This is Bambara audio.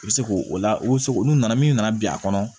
I bɛ se k'o o la u bɛ se k'u nana min nana bin a kɔnɔ